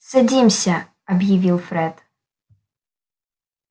садимся объявил фред